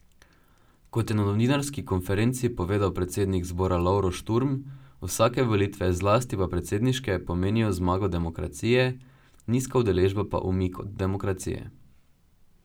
Kot je na novinarski konferenci povedal predsednik zbora Lovro Šturm, vsake volitve, zlasti pa predsedniške, pomenijo zmago demokracije, nizka udeležba pa umik od demokracije.